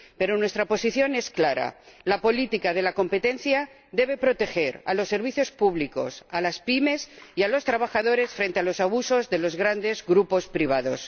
Pero nuestra posición es clara la política de competencia debe proteger los servicios públicos, a las pymes y a los trabajadores frente a los abusos de los grandes grupos privados.